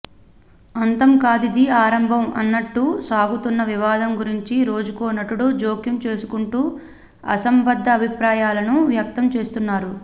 అంతం కాదిది ఆరంభం అన్నట్టు సాగుతున్న వివాదం గురించి రోజుకో నటుడు జోక్యం చేసుకుంటూ అసంబద్ద అభిప్రాయాలను వ్యక్తం చేస్తున్నారు